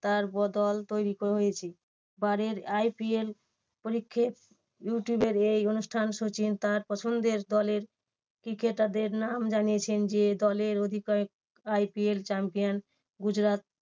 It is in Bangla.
তার দল তৈরী হয়েছে। এবারের IPL ইউটিউবের এই অনুষ্ঠান সচিন তার পছন্দের দলের cricketer দের নাম জানিয়েছেন যে দলের অধিকয়েক IPL champion গুজরাট